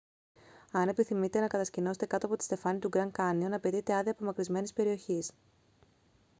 αν επιθυμείτε να κατασκηνώσετε κάτω από τη στεφάνη του γκραντ κάνιον απαιτείται άδεια απομακρυσμένης περιοχής